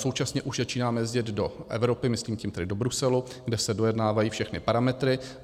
Současně už začínáme jezdit do Evropy, myslím tím tedy do Bruselu, kde se dojednávají všechny parametry.